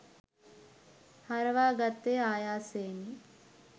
හරවාගත්තේ ආයාසයෙනි